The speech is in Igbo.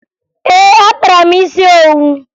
Ee, akpara m isi owu